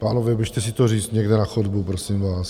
Pánové, běžte si to říct někam na chodbu, prosím vás.